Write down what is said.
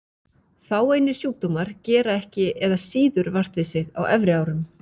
Fáeinir sjúkdómar gera ekki eða síður vart við sig á efri árum.